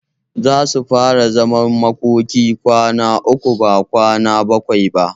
Zasu fara zaman makokin kwana uku ba kwana bakwai ba.